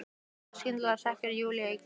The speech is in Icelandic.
Og þá skyndilega hrekkur Júlía í gír.